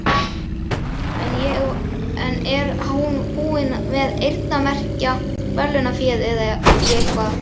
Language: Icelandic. En er hún búin að eyrnamerkja verðlaunaféð í eitthvað?